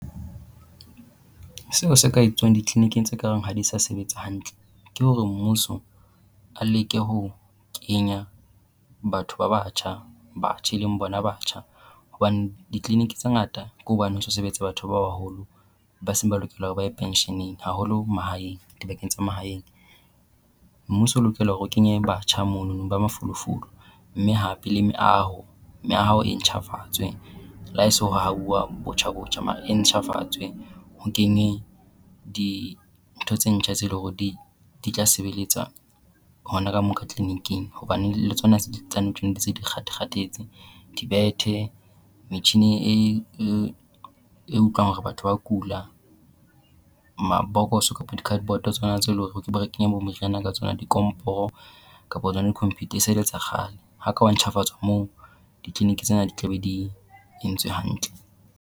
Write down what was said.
Seo se ka etsuwang dikliniking tse ka reng ha di sa sebetsa hantle ke hore mmuso a leke ho kenya batho ba batjha batjha e leng bona batjha, hobane dikliniki tse ngata ke hobane ho so sebetsa batho ba baholo ba seng ba lokela hore ba ye pensheneng haholo mahaeng dibakeng tsa mahaeng. Mmuso o lokela hore o kenye batjha monono ba mafolofolo mme hape le meaho meaho e ntjhafatswe la he se ho hauwa botjha botjha mare e ntjhafatswe. Ho kene dintho tse ntjha tse le hore di di tla sebeletsa hona ka moo ka kliniking hobane le tsona di se di kgatha-kgathetse. Dibethe metjine e e e utlwang hore batho ba kula, mabokoso kapo di-cardboard tsona tse le hore re ke be re kenya moriana ka tsona, dikomporo kapo tsona di-computer e se e le tsa kgale. Ha ke hwa ntjhafatswa moo dikliniki tsena di tla be di entswe hantle.